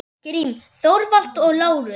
Grím, Þorvald og Lárus.